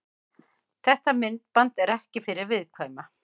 Þetta myndband er ekki fyrir viðkvæma.